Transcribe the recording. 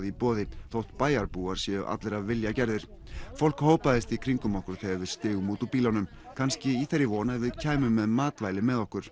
í boði þótt bæjarbúar séu allir af vilja gerðir fólk hópaðist í kringum okkur þegar við stigum út úr bílunum kannski í þeirri von að við kæmum með matvæli með okkur